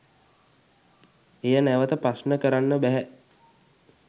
එය නැවත ප්‍රශ්න කරන්න බැහැ